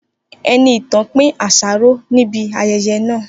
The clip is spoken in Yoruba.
Enitàn pín àsáró ní ibi ayẹyẹ náà